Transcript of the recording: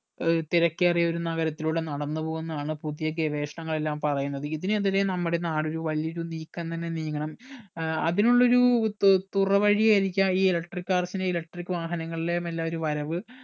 ഏർ തിരക്കേറിയ ഒരു നഗരത്തിലൂടെ നടന്ന് പോകുന്നതാണ് പുതിയ ഗവേഷണങ്ങൾ എല്ലാം പറയുന്നത് ഇതിനെതിരെ നമ്മുടെ നാട് ഒരു വലിയൊരു നീക്കം തന്നെ നീങ്ങണം ഏർ അതിനുള്ളൊരു തു തുറവഴി ആയിരിക്കാം ഈ electric cars നെ electric വാഹനങ്ങളിലെ എല്ലാം ഒരു വരവ്